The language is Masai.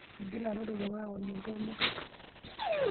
Egira lotorok aony oltome.